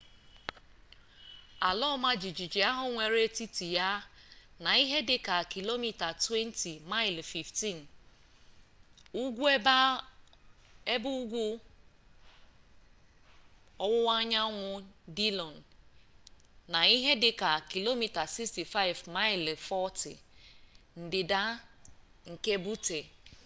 ala ọma jijiji ahụ nwere etiti ya na ihe dị ka km 20 maịlị 15 ugwu-ebe ugwu ọwụwa anyanwụnke dillon na ihe dị ka km 65 maịlị 40 ndịda nke butte